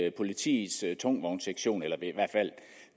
at politiets tungvognssektion eller